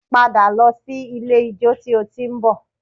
Padà lọ sí ilé-ijó tí o ti ń bọ̀